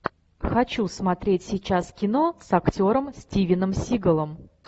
хочу смотреть сейчас кино с актером стивеном сигалом